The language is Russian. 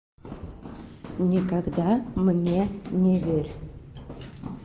никогда мне не верь